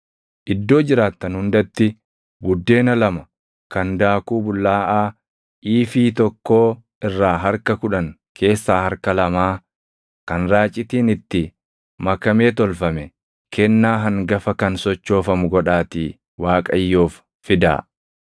Iddoo jiraattan hundatti buddeena lama kan daakuu bullaaʼaa iifii tokkoo irraa harka kudhan keessaa harka lamaa kan raacitiin itti makamee tolfame kennaa hangafa kan sochoofamu godhaatii Waaqayyoof fidaa.